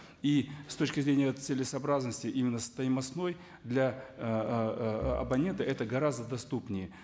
и с точки зрения целесообразности именно стоимостной для ыыы абонента это гораздо доступнее